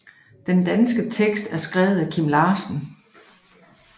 Den danske tekst er skrevet af Kim Larsen